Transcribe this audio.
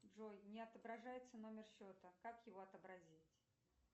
джой не отображается номер счета как его отобразить